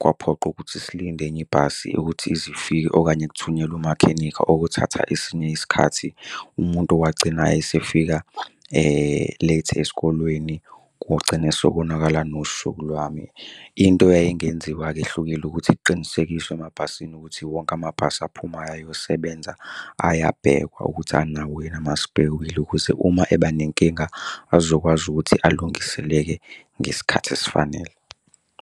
kwaphoqa ukuthi silinde enye ibhasi ukuthi ize ifike okanye kuthunyelwe umakhenikha okuthatha esinye isikhathi. Umuntu wagcina esefika late esikolweni, kugcine sekonakala nosuku lwami. Into eyayingenziwa-ke ehlukile ukuthi kuqinisekiswe emabhasini ukuthi wonke amabhasi aphumayo ayosebenza, ayabhekwa ukuthi anawo yini ama-spare wheel ukuze uma eba nenkinga azokwazi ukuthi alungiseleke ngesikhathi esifanele.